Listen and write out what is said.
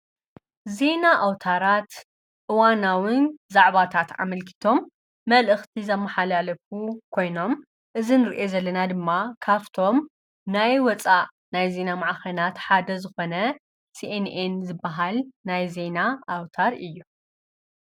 ዜና ኣውታራት እዋናውን ዛዕባታት ኣመልኪቶም መልእኽቲ ዘመሓላለፉ ኮይኖም እዝ ንርኦ ዘለና ድማ ካፍቶም ናይ ወፃእ ናይ ዜና መዕኸናት ሓደ ዝኾነ ሲኤንኤን ዝበሃል ናይ ዜና ኣውታር እዩ፡፡